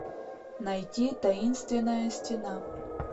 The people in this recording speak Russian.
найти таинственная стена